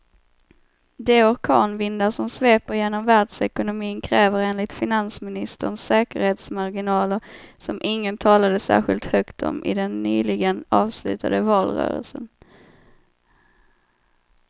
De orkanvindar som sveper genom världsekonomin kräver enligt finansministern säkerhetsmarginaler som ingen talade särskilt högt om i den nyligen avslutade valrörelsen.